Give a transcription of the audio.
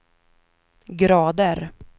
grader